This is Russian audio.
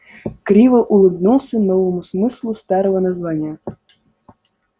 криво улыбнулся новому смыслу старого названия